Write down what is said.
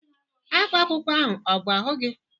Ákwá akwụkwọ ahụ ọ bụ ahụ gị?